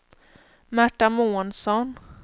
Märta Månsson